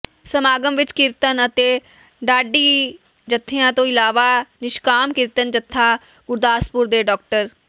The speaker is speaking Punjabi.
ਸਮਾਗਮ ਵਿੱਚ ਕੀਰਤਨ ਅਤੇ ਢਾਡੀ ਜਥਿਆਂ ਤੋਂ ਇਲਾਵਾ ਨਿਸ਼ਕਾਮ ਕੀਰਤਨ ਜਥਾ ਗੁਰਦਾਸਪੁਰ ਦੇ ਡਾ